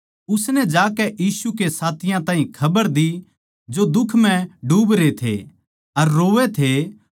उसनै जाकै यीशु के साथियाँ ताहीं खबर दी जो दुख म्ह डूबरे थे अर रोवै थे